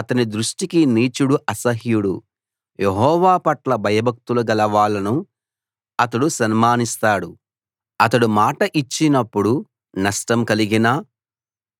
అతని దృష్టికి నీచుడు అసహ్యుడు యెహోవా పట్ల భయభక్తులు గలవాళ్ళను అతడు సన్మానిస్తాడు అతడు మాట ఇచ్చినప్పుడు నష్టం కలిగినా